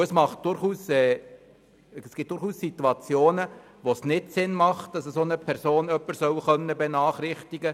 » Es gibt durchaus Situationen, wo es keinen Sinn macht, dass eine solche Person jemanden benachrichtigt;